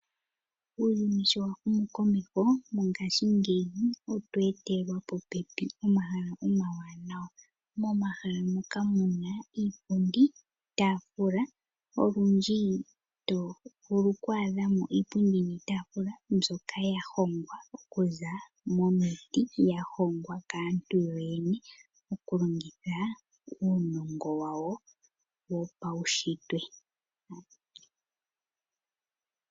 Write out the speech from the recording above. Uuyuni sho wahumu komeho mongaashingeyi otwa etelwa popepi omahala omawanawa, momahala moka muna iipundi niitafula olundji tovulu okuadha mo iipundi iitafula mbyoka yahongwa okuza momiiti, yahoongwa kaantu yoyene okulongitha uunongo wawo wopaushitwe.